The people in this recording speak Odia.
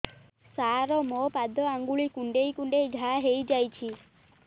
ସାର ମୋ ପାଦ ଆଙ୍ଗୁଳି କୁଣ୍ଡେଇ କୁଣ୍ଡେଇ ଘା ହେଇଯାଇଛି